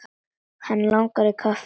Hann langar í kaffi.